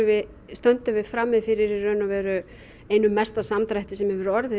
stöndum við frammi fyrir í raun og veru einum mesta samdrætti sem hefur orðið